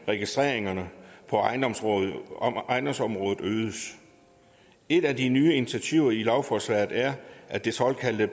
registreringerne på ejendomsområdet ejendomsområdet øges et af de nye initiativer i lovforslaget er at det såkaldte